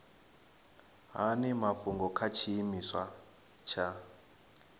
hani mafhungo kha tshiimiswa tsha